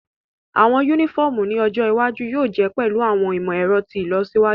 Awọn unifọmu ni ojo iwaju yóò je pẹlu awọn imọ-ẹrọ ti ilọsiwaju.